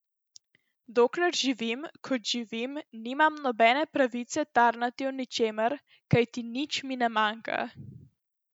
Dokler živim, kot živim, nimam nobene pravice tarnati o ničemer, kajti nič mi ne manjka.